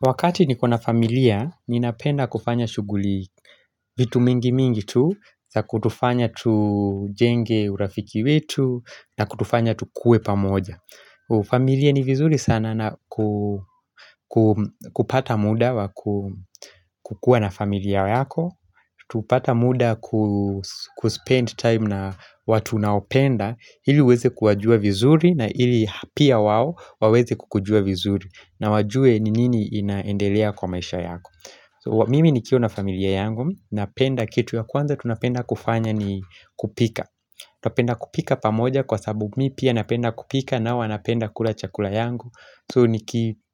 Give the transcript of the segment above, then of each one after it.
Wakati niko na familia, ninapenda kufanya shuguli vitu mingi mingi tu za kutufanya tujenge urafiki wetu na kutufanya tukue pamoja familia ni vizuri sana na kupata muda kukua na familia yako Tupata muda kuspend time na watu unaopenda Hili uweze kuwajua vizuri na hili pia wao waweze kukujua vizuri na wajue ni nini inaendelea kwa maisha yako Mimi nikiwa na familia yangu Napenda kitu ya kwanza tunapenda kufanya ni kupika Twapenda kupika pamoja kwa sababu mi pia napenda kupika nao wanapenda kula chakula yangu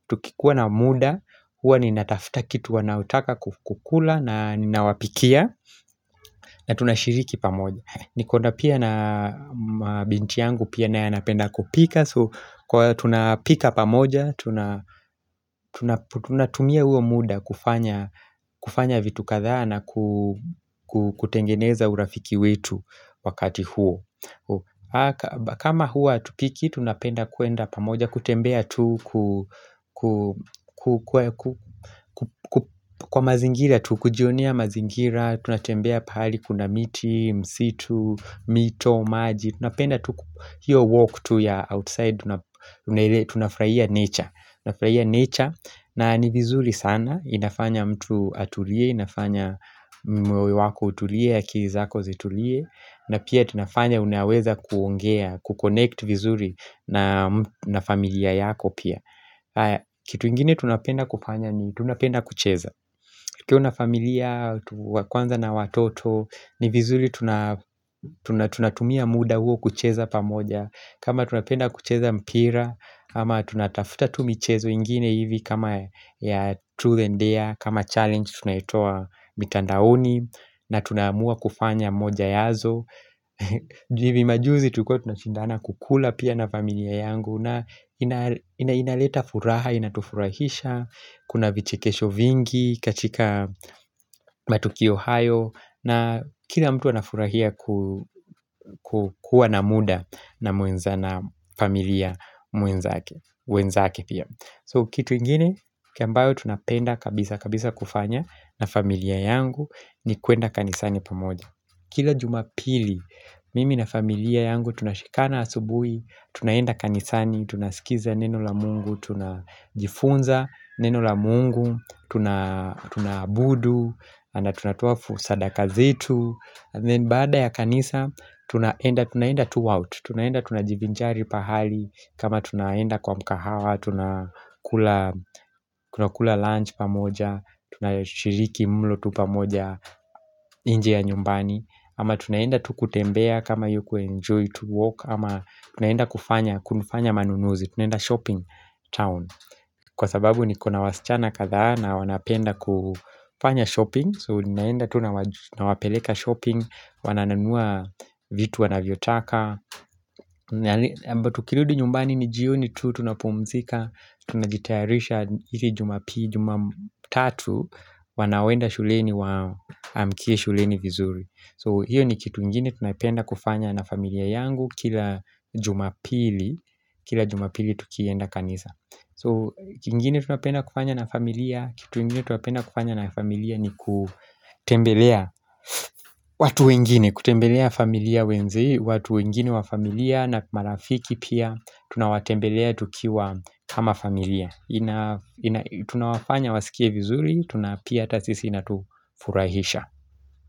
Tukikua na muda huwa ninatafuta kitu wanaotaka kukula na ninawapikia na tunashiriki pamoja Nikona pia na mabinti yangu pia nae anapenda kupika so Kwa hiyo tunapika pamoja Tunatumia huo muda kufanya vitu kadhaa na kutengeneza urafiki wetu wakati huo kama huwa hatupiki tunapenda kwenda pamoja kutembea tu kujionia mazingira Tunatembea pahali kuna miti, msitu, mito, maji Tunapenda tu hiyo walk tu ya outside Tunafurahia nature unafurahia nature na ni vizuri sana inafanya mtu atulie, inafanya moyo wako utulie, akili zako zitulie na pia tunafanya unaweza kuongea, kukonect vizuri na na familia yako pia Kitu ingine tunapenda kufanya ni tunapenda kucheza ukiwa na familia, tuwa kwanza na watoto ni vizuri tuna tuna tunatumia muda huo kucheza pamoja kama tunapenda kucheza mpira Ama tunatafuta tu michezo ingine hivi kama ya truth and dare kama challenge tunaitoa mitandaoni na tunaamua kufanya moja yazo hivi majuzi tulikuwa tunashindana kukula pia na familia yangu na inaleta furaha, inatufurahisha Kuna vichikesho vingi katika matukio hayo na kila mtu anafurahia ku kukua na muda na mwenza na familia mwenzake wenzake pia So kitu ingine, kambayo tunapenda kabisa, kabisa kufanya na familia yangu ni kwenda kanisani pamoja Kila jumapili, mimi na familia yangu tunashikana asubui, tunaenda kanisani, tunasikiza neno la mungu, tunajifunza neno la mungu, tunaabudu, anda tunatoa fu sadaka zetu Then baada ya kanisa, tunaenda, tunaenda tu out, tunaenda, tunajivinjari pahali kama tunaenda kwa mkahawa, tunakula lunch pamoja, tunashiriki mlo tu pamoja inje ya nyumbani Ama tunaenda tu kutembea kama hiyo kuenjoy to walk Ama tunaenda kufanya, kunufanya manunuzi, tunaenda shopping town Kwa sababu ni kuna wasichana kadhaa na wanapenda kufanya shopping So ninaenda tuna nawapeleka shopping Wanananua vitu wanavyotaka Mbatu tukirudi nyumbani ni jioni tu Tunapumzika Tunajitayarisha ili jumapili Juma tatu Wanaoenda shuleni wa amkie shuleni vizuri So hiyo ni kitu ingine tunayopenda kufanya na familia yangu Kila jumapili Kila jumapili tukienda kanisa So kitu kingine tunapenda kufanya na familia Kitu ingine tunapenda kufanya na familia ni ku kutembelea watu wengine kutembelea familia wenze watu wengine wa familia na marafiki pia tunawatembelea tukiwa kama familia tunawafanya wasikie vizuri tunapia hata sisi inatufurahisha.